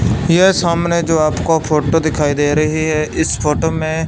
यह सामने जो आपको फोटो दिखाई दे रही है इस फोटो में--